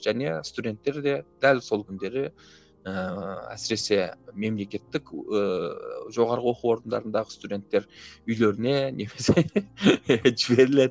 және студенттер де дәл сол күндері ііі әсіресе мемлекеттік ііі жоғарғы оқу орындарындағы студенттер үйлеріне немесе жіберіледі